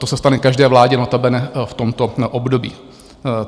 To se stane každé vládě notabene v tomto období.